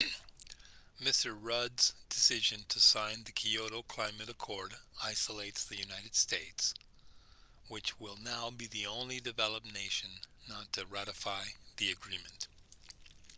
mr rudd's decision to sign the kyoto climate accord isolates the united states which will now be the only developed nation not to ratify the agreement